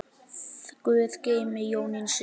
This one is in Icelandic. Guð geymi Jónínu systur.